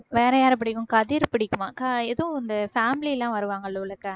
வேற யார பிடிக்கும் கதிர பிடிக்குமா க~ ஏதோ இந்த family லாம் வருவாங்கல்ல உள்ளுக்க